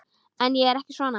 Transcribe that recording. En ég er ekki svona.